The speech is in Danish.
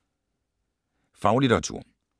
Faglitteratur